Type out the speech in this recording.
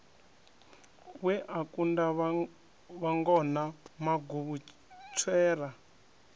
we a kunda vhangona maguvhutswera